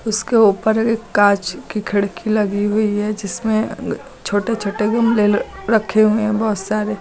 इसके ऊपर एक कांच की खिड़की लगी हुई है जिसमें छोटे छोटे गमले रखे हुए हैं बहोत सारे।